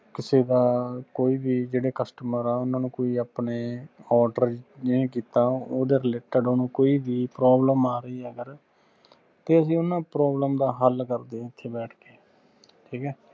ਕਿਸੇ ਦਾ ਕੋਈਂ ਵੀ ਜਿਹੜੇ customer ਆ ਓਹਨਾ ਨੇ ਕੋਈ ਆਪਣੇ order ਨਹੀਂ ਕੀਤਾ ਓਹਦੇ related ਓਹਨੂੰ ਕੋਈ ਵੀ problem ਆ ਰਹੀ ਆ ਅਗਰ ਤੇ ਅਸੀਂ ਓਹਨਾ ਦੀ problem ਦਾ ਹੱਲ ਕਰਦੇ ਆ ਓਥੇ ਬੈਠ ਕੇ ਠੀਕ ਆ।